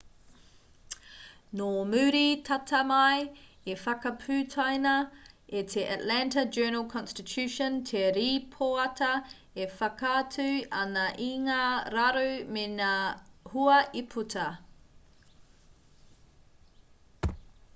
nō muri tata mai i whakaputaina e te atlanta journal-consitution te rīpoata e whakaatu ana i ngā raru me ngā hua i puta